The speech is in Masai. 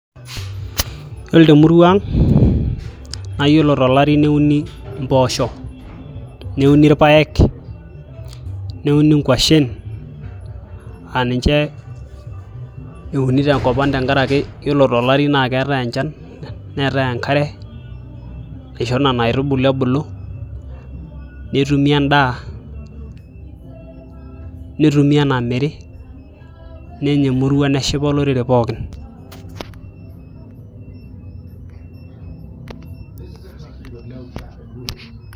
Yiolo temurua aang naa iyiolo tolari neumi impooshok neuni irpaek neuni inkuashen aa ninche euni tenkop tenkaraki Yiolo tolari naaketai enchan neetai enkare naisho nena aitubulu ebulu nitumie endaa nitumie enamiri nenya emurua neshipa olorere pookin.